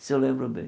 Isso eu lembro bem.